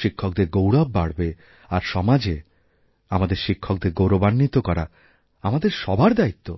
শিক্ষকদের গৌরব বাড়বে আর সমাজে আমাদের শিক্ষকদের গৌরবান্বিত করাআমাদের সবার দায়িত্ব